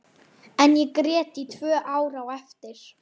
En ég grét í tvö ár á eftir.